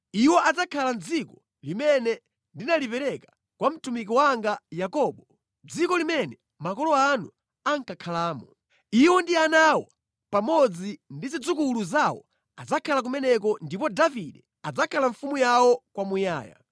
Iwo adzakhala mʼdziko limene ndinalipereka kwa mtumiki wanga Yakobo, dziko limene makolo anu ankakhalamo. Iwo ndi ana awo pamodzi ndi zidzukulu zawo adzakhala kumeneko ndipo Davide adzakhala mfumu yawo kwa muyaya.